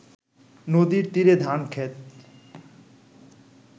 নদীর তীরে ধান ক্ষেত